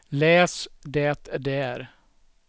läs det där